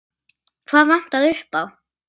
Hvað vantaði upp á?